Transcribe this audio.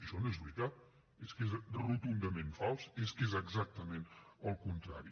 això no és veritat és que és rotundament fals és que és exactament el contrari